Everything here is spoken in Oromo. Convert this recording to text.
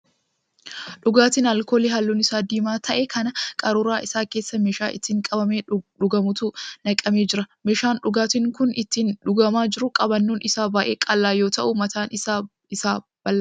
Dhugaatii alkoolii halluun isaa diimaa ta'e kan qaruuraa isaa keessaa meeshaa ittiin qabamee dhugamutti naqamee jiruudha. Meeshaan dhugaatiin kun ittiin dhugamaa jiru qabannoon isaa baay'ee qal'aa yoo ta'u mataan isaa bal'aadha.